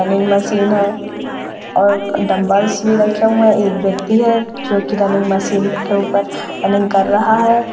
Running machine है और dumbbells भी रखे हुए है एक व्यक्ति है जोकि रनिंग मशीन के ऊपर रनिंग कर रहा है।